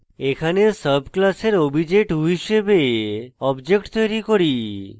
এখানে sub class obj2 হিসাবে object তৈরী করি